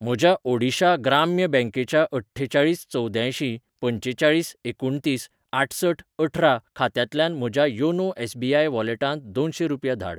म्हज्या ओडिशा ग्राम्य बँकेच्या अठ्ठेचाळीस चवद्यांयशीं पंचेचाळीस एकुणतीस आठसठ अठरा खात्यांतल्यान म्हज्या योनो एस.बी.आय वॉलेटांत दोनशें रुपया धाड.